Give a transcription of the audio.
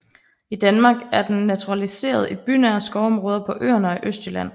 I Danmark er den naturaliseret i bynære skovområder på Øerne og i Østjylland